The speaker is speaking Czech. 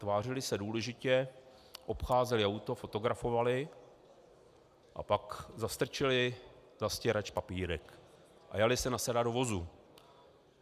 Tvářili se důležitě, obcházeli auto, fotografovali a pak zastrčili za stěrač papírek a jali se nasedat do vozu.